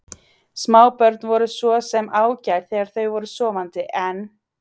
Smábörn voru svo sem ágæt þegar þau voru sofandi, en